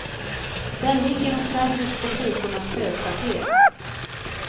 Där ligger de serbiska styrkornas högkvarter.